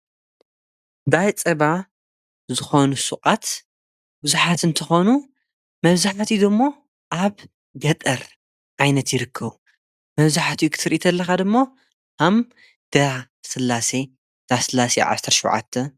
ዳ ጸባ ዝኾኑ ሹቃት ቡዝሓት እንተኾኑ መብዛሕቲኦም ድማ ኣብ ገጠር ዓይነት ይርክቡ። መብዙሓትኡ ኽትርኢ ተለኻ ድማ ከም ዳ ሥላሰ፣ ዳ ስላሴ ዓስርተ ሽዉዓት